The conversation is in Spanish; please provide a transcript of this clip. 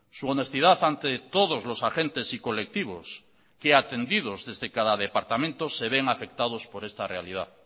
su honestidad ante todos los agentes y colectivos que atendidos desde cada departamento se ven afectados por esta realidad